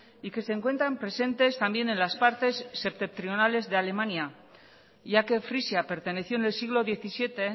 y que se encuentran presentes también en las partes septentrionales de alemania ya que frisia perteneció en el siglo diecisiete